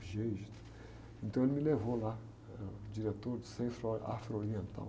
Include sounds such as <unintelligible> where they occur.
<unintelligible> Então ele me levou lá, eh, o diretor do Centro Afro Oriental.